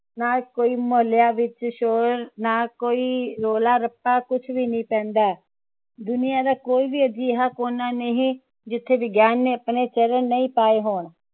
ਨਾ ਕੋਈ ਮੁਹੱਲਿਆਂ ਵਿਚ ਸ਼ੋਰ ਨਾ ਕੋਈ ਰੌਲਾ ਰੱਪਾ ਕੁਛ ਵੀ ਨਹੀਂ ਪੈਂਦਾ ਹੈ ਦੁਨੀਆਂ ਦਾ ਕੋਈ ਵੀ ਅਜਿਹਾ ਕੋਨਾ ਨਹੀਂ ਜਿਥੇ ਵਿਗਿਆਨ ਨੇ ਆਪਣੇ ਚਰਨ ਨਹੀਂ ਪਾਏ ਹੋਣ